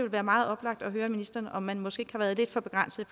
være meget oplagt at høre ministeren om man måske har været lidt for begrænset